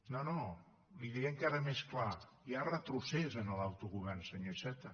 no no li ho diré encara més clar hi ha retrocés en l’autogovern senyor iceta